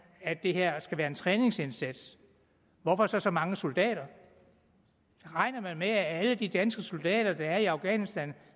at det her skal være en træningsindsats hvorfor så så mange soldater regner man med at alle de danske soldater der er i afghanistan